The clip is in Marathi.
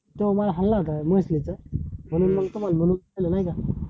तो हल्ला आता म्हशीव चा म्हणून मग तुम्हाला म्हटलं, नाय का?